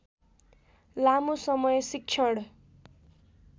लामो समय शिक्षण